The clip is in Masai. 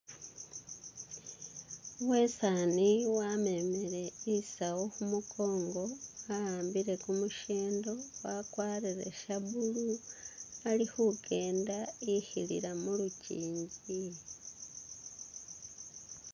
Uwesani wamemele isawu khumukongo ahambile kumushendo wakwarile sha blue alikhukenda ikhilila mulukyinji